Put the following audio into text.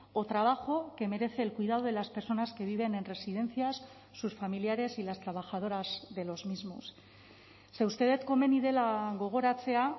o trabajo que merece el cuidado de las personas que viven en residencias sus familiares y las trabajadoras de los mismos ze uste dut komeni dela gogoratzea